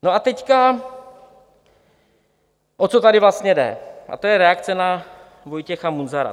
No a teď, o co tady vlastně jde, a to je reakce na Vojtěcha Munzara.